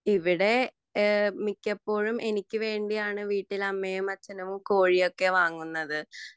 ഇവിടെ മിക്കപ്പോഴും എനിക്ക് വേണ്ടിയാണു വീട്ടിൽ അമ്മയും അച്ഛനും കൊഴിയൊക്കെ വാങ്ങുന്നത്